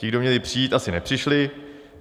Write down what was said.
Ti, kdo měli přijít, asi nepřišli.